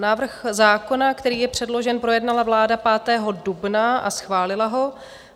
Návrh zákona, který je předložen, projednala vláda 5. dubna a schválila ho.